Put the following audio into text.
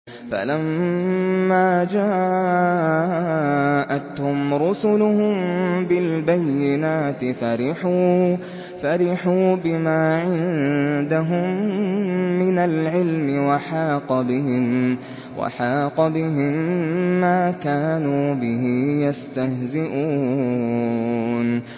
فَلَمَّا جَاءَتْهُمْ رُسُلُهُم بِالْبَيِّنَاتِ فَرِحُوا بِمَا عِندَهُم مِّنَ الْعِلْمِ وَحَاقَ بِهِم مَّا كَانُوا بِهِ يَسْتَهْزِئُونَ